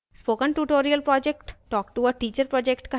spoken tutorial project talktoa teacher project का हिस्सा है